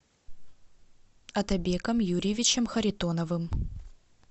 отабеком юрьевичем харитоновым